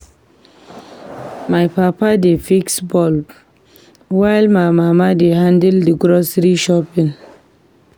My papa dey fix light bulbs, while my mama dey handle the grocery shopping.